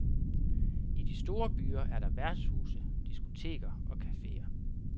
I de store byer er der værtshuse, diskoteker og cafeer.